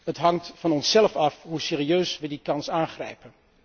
Het hangt van onszelf af hoe serieus we die kans aangrijpen.